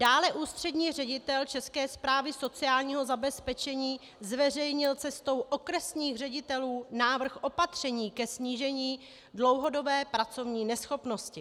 Dále ústřední ředitel České správy sociálního zabezpečení zveřejnil cestou okresních ředitelů návrh opatření ke snížení dlouhodobé pracovní neschopnosti.